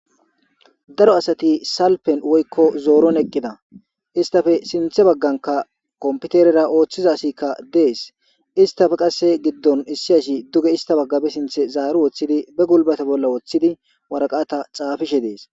daro asati salpen woykko zooron eqqida istafe sinthe bagganka kompiterera ooththiza sikka dees istafe qasse giddon issi asi duge ista baggabe sinthe zaaru woththidi be gulbate bolla woththidi waraqata xaafishe dees